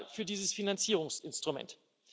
für dieses Finanzierungsinstrument.